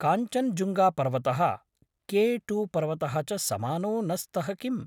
काञ्चनजुङ्गापर्वतः, K two पर्वतः च समानौ न स्तः किम्?